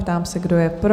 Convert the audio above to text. Ptám se, kdo je pro?